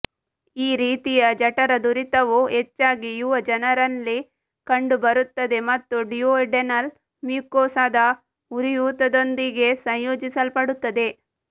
ಈ ರೀತಿಯ ಜಠರದುರಿತವು ಹೆಚ್ಚಾಗಿ ಯುವ ಜನರಲ್ಲಿ ಕಂಡುಬರುತ್ತದೆ ಮತ್ತು ಡ್ಯುವೋಡೆನಲ್ ಮ್ಯೂಕೋಸಾದ ಉರಿಯೂತದೊಂದಿಗೆ ಸಂಯೋಜಿಸಲ್ಪಡುತ್ತದೆ